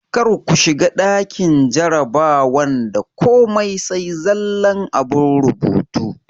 Kar ku shiga ɗakin jarabawan da komai sai zallan abun rubutu!